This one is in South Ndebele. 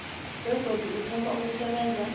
begodu uthoma ukusebenza